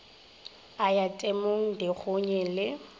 o ya temong dikgonyeng le